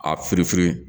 A firifiri